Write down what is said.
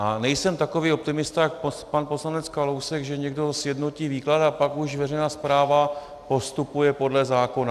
A nejsem takový optimista jako pan poslanec Kalousek, že někdo sjednotí výklad a pak už veřejná správa postupuje podle zákona.